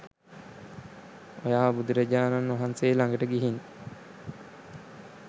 ඔයා බුදුරජාණන් වහන්සේ ලඟට ගිහින්